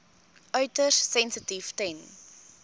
uiters sensitief ten